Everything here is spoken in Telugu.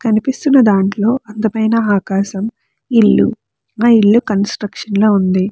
కనిపిస్తున్న దాంట్లో అందమైన ఆకాశం ఇల్లు ఆ ఇల్లు కన్స్ట్రక్షన్ లో ఉంది.